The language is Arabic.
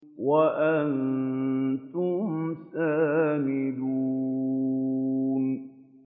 وَأَنتُمْ سَامِدُونَ